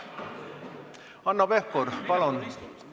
Hanno Pevkur, palun!